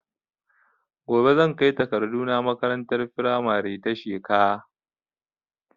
Gobe zan kai takardu na makarantar firamare ta Sheka